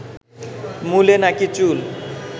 মূলে নাকি চুল